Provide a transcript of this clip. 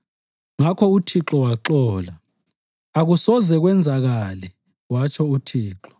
Ngakho uthixo waxola. “Akusoze kwenzakale” watsho uthixo.